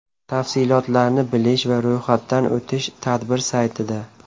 Tafsilotlarni bilish va ro‘yxatdan o‘tish tadbir saytida .